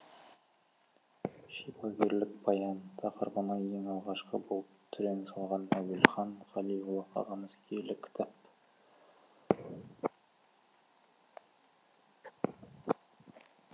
шипагерлік баян тақырыбына ең алғашқы болып түрен салған әуелхан қалиұлы ағамыз киелі кітап